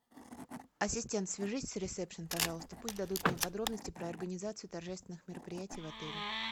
ассистент свяжись с ресепшн пожалуйста пусть дадут мне подробности про организацию торжественных мероприятий в отеле